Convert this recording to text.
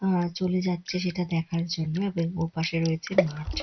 আ- চলে যাচ্ছে সেটা দেখার জন্য ব্যাঙ ও পাশে রয়েছে মাঠ ।